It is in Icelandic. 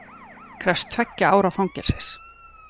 Krefst tveggja ára fangelsis